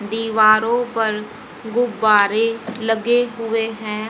दीवारों पर गुब्बारे लगे हुए हैं।